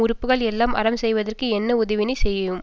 உறுப்புக்கள் எல்லாம் அறம் செய்தற்கு என்ன உதவியினைச் செய்யும்